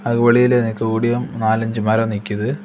அதுக்கு வெளில நிக்க கூடிய நாலு அஞ்சு மரம் நிக்குது.